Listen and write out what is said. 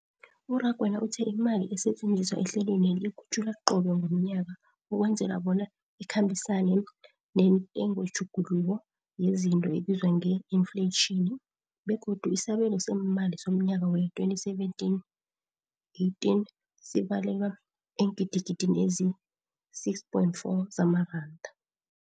U-Rakwena uthe imali esetjenziswa ehlelweneli ikhutjhulwa qobe ngomnyaka ukwenzela bona ikhambisane nentengotjhuguluko yezinto ebizwa nge-infleyitjhini, begodu isabelo seemali somnyaka wee-2017, 18 sibalelwa eengidigidini ezisi-6.4 zamaranda.